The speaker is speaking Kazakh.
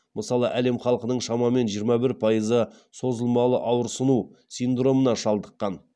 мысалы әлем халқының шамамен жиырма бір пайызы созылмалы ауырсыну синдромына шалдыққан